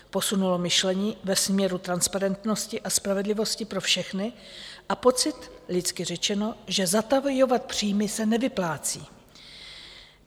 Posunulo myšlení ve směru transparentnosti a spravedlivosti pro všechny a pocit, lidsky řečeno, že zatajovat příjmy se nevyplácí.